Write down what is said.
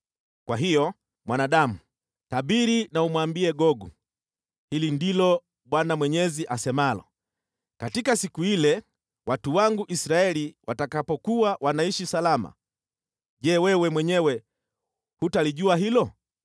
“Kwa hiyo, mwanadamu, tabiri na umwambie Gogu: ‘Hili ndilo Bwana Mwenyezi asemalo: Katika siku ile, watu wangu Israeli watakapokuwa wanaishi salama, Je, wewe mwenyewe hutalijua hilo?